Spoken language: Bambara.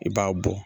I b'a bɔ